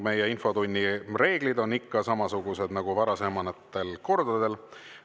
Meie infotunni reeglid on ikka samasugused nagu varasematel kordadel.